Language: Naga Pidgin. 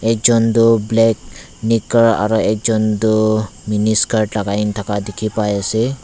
ekjon toh black nikar aro ekta toh mini skirt lakai na thaka dikhipaiase.